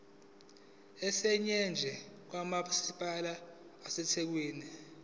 esiyingxenye kamasipala wasethekwini